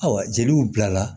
Ayiwa jeliw bila la